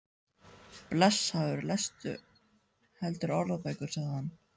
Blessaður lestu heldur orðabækur, sagði hann.